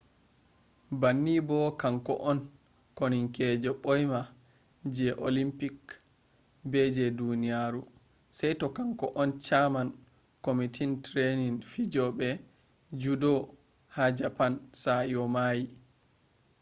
banni bo kanko on koonikeejo ɓoima je olimpik be je duniyaaru saito kanko on chairman kwamiti trainin fijooɓe judo ha japan sa'i o maayi